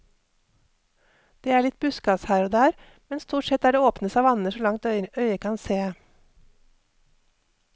Det er litt buskas her og der, men stort sett er det åpne savanner så langt øyet kan se.